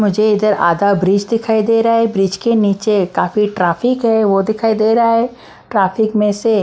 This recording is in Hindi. मुझे इधर आधा ब्रिज दिखाई दे रहा है ब्रिज के नीचे काफी ट्रैफिक है वो दिखाई दे रहा है ट्रैफिक में से--